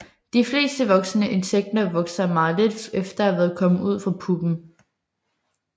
De fleste voksne insekter vokser meget lidt efter at være kommet ud fra puppen